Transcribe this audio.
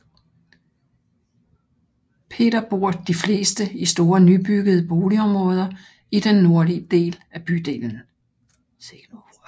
Peter bor de fleste i store nybyggede boligområder i den nordlige del af bydelen